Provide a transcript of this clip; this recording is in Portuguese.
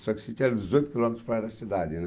Só que o sítio era dezoito quilômetros fora da cidade, né?